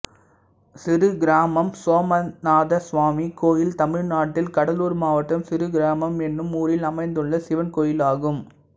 சிறுகிராமம் சோமநாதசுவாமி கோயில் தமிழ்நாட்டில் கடலூர் மாவட்டம் சிறுகிராமம் என்னும் ஊரில் அமைந்துள்ள சிவன் கோயிலாகும்